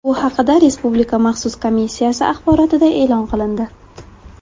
Bu haqida Respublika maxsus komissiyasi axborotida e’lon qilindi.